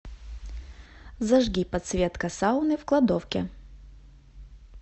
зажги подсветка сауны в кладовке